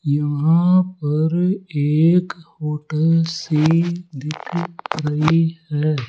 यहां पर एक होटल सी दिख रही है।